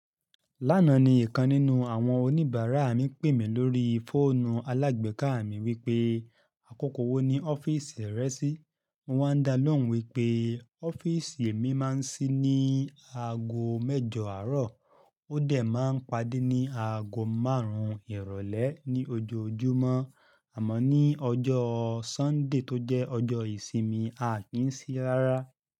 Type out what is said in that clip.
Lánàá ni ìkan nínú àwọn oníbàárà mi pèmí lórí fóònù alágbe ká mi wípé àkókò wo ni ọ́fíìsì rẹ ṣí, mo wá dá lóhùn wípé ọ́fíìsì mi máa ń ṣí ní aago mẹ́jọ àárọ̀, ó dẹ̀ máa ń padé ní aago márùn-ún ìrọ̀lẹ́ ní ojoojúmọ́, àmọ́ ní ọjọ́ Sunday tó jẹ́ ọjọ́ ìsinmi, a ki n ṣí rárá.